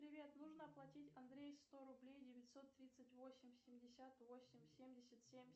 привет нужно оплатить андрею сто рублей девятьсот тридцать восемь семьдесят восемь семьдесят семь